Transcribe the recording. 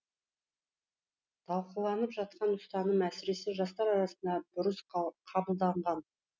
талқыланып жатқан ұстаным әсіресе жастар арасында бұрыс қабылданған